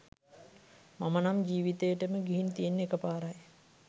මම නම් ජීවිතේටම ගිහින් තියෙන්නෙ එක පාරයි.